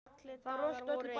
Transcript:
Þau röltu öll í bæinn.